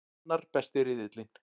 Annar besti riðillinn